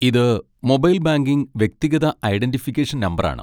ഇത് mobile banking വ്യക്തിഗത identification നമ്പറാണ്.